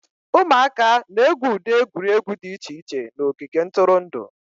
ụmụaka na-egwu ụdị egwuregwu dị iche iche na ogige ntụrụndụ